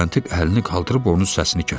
Müstəntiq əlini qaldırıb onun səsini kəsdi.